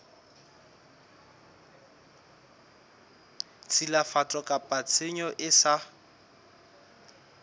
tshilafatso kapa tshenyo e sa